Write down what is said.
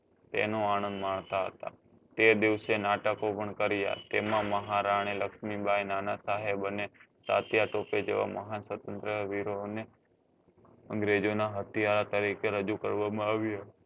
તેનો આણંદ માનતા હતા તે દિવસે નાટકો પણ કર્યા તેમાં મહારાણી લક્ષ્મી બાઈ નાના સાહેબ અને કાતીયા ટોપે જેવા મહાન શત્રુંજ્ય વીરો અને અંગ્રેજો ના અથીયારા તરીકે રજુ કરવા માં આવ્યા હતા